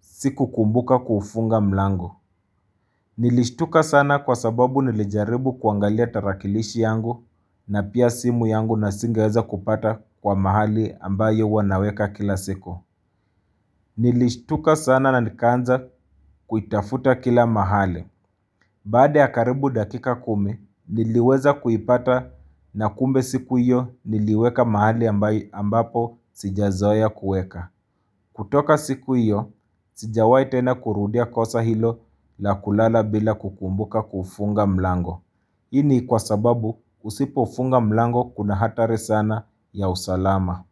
sikukumbuka kufunga mlangu. Nilishtuka sana kwa sababu nilijaribu kuangalia tarakilishi yangu na pia simu yangu na singeweza kupata kwa mahali ambayo huwa naweka kila siku. Nilishtuka sana na nikanza kuitafuta kila mahali. Baada ya karibu dakika kumi niliweza kuipata na kumbe siku iyo niliweka mahali ambapo sijazoea kueka. Kutoka siku iyo, sijawahi tena kurudia kosa hilo la kulala bila kukumbuka kufunga mlango. Ini kwa sababu usipo funga mlango kuna hatari sana ya usalama.